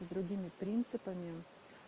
с другими принципами